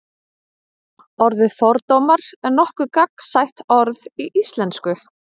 orðið fordómar er nokkuð gagnsætt orð í íslensku